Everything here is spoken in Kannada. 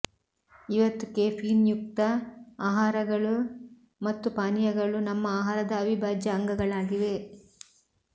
ಇವತ್ತು ಕೆಫೀನ್ಯುಕ್ತ ಆಹಾರಗಳು ಮತ್ತು ಪಾನೀಯಗಳು ನಮ್ಮ ಆಹಾರದ ಅವಿಭಾಜ್ಯ ಅಂಗಗಳಾಗಿವೆ